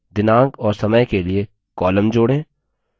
दिनांक और समय के लिए column जोड़ें